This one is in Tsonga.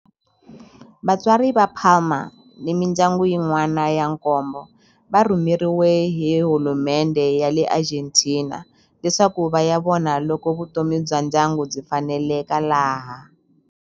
Vatswari va Palma ni mindyangu yin'wana ya nkombo va rhumeriwe hi hulumendhe ya le Argentina leswaku va ya vona loko vutomi bya ndyangu byi faneleka laha.